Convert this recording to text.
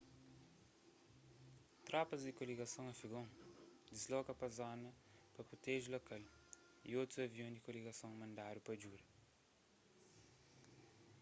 tropas di koligason afegon disloka pa zona pa proteje lokal y otus avion di koligason mandadu pa djuda